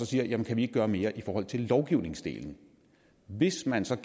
siger kan vi ikke gøre mere i forhold til lovgivningsdelen hvis man så